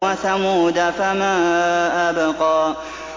وَثَمُودَ فَمَا أَبْقَىٰ